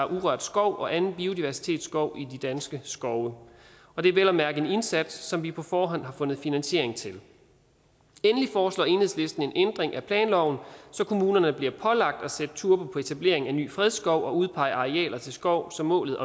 urørt skov og anden biodiversitetsskov i de danske skove og det er vel at mærke en indsats som vi på forhånd har fundet finansiering til endelig foreslår enhedslisten en ændring af planloven så kommunerne bliver pålagt at sætte turbo på etablering af ny fredskov og udpegning af arealer til skov så målet